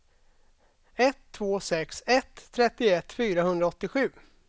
ett två sex ett trettioett fyrahundraåttiosju